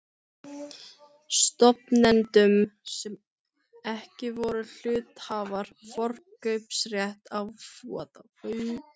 stofnendum sem ekki voru hluthafar, forkaupsrétt að hlutum.